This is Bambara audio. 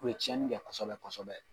U ye tiɲɛni kɛ kosɛbɛ kosɛbɛ